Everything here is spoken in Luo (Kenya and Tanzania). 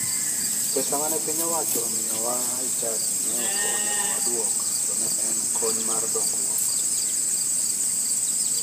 Pesa mane piny owacho omiyowa e chadi ne ok onego waduok to ne en kony mar dongruok.